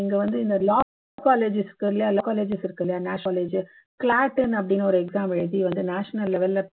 இங்க வந்து இந்த law colleges இருக்குல்ல college அப்படின்னு ஒரு exam எழுதி national level ல